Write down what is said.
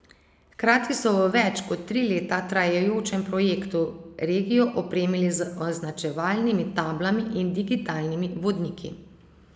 Hkrati so v več kot tri leta trajajočem projektu regijo opremili z označevalnimi tablami in digitalnimi vodniki.